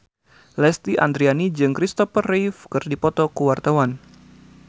Lesti Andryani jeung Kristopher Reeve keur dipoto ku wartawan